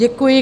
Děkuji.